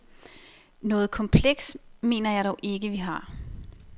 Noget kompleks, mener jeg dog ikke, vi har.